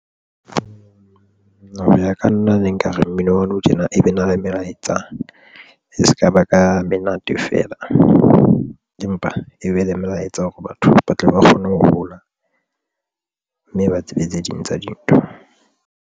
Hoya ka nna ne nkare mmino wa nou tjena. E be na le melaetsa e sekaba ka menate feela, empa e be le melaetsa hore batho ba tle ba kgone ho hola mme ba tsebe tse ding tsa dintho.